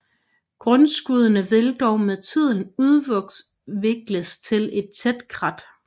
Grundskuddene vil dog med tiden udvikles til et tæt krat